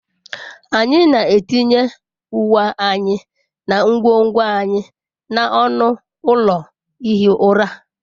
Anyị na-etinye uwe anyị na ngwongwo anyị n'ọnụ ụlọ ihi ụra.